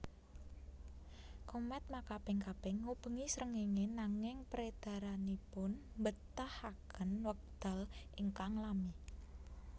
Komèt makaping kaping ngubengi srengéngé nanging peredaranipun mbetahaken wekdal ingkang lami